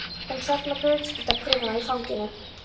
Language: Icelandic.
Hún sat með grútskítuga prufuna í fanginu.